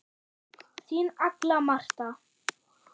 Þín Agla Marta.